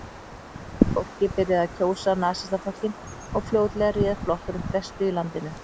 Fólkið byrjaði að kjósa Nasistaflokkinn og fljótlega réð flokkurinn flestu í landinu.